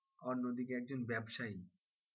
অন্যদিকে একজন ব্যবসায়ী,